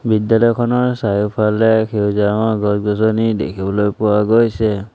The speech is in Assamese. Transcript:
বিদ্যালয়খনৰ চাৰিওফালে সেউজীয়া ৰঙৰ গছ-গছনি দেখিবলৈ পোৱা গৈছে।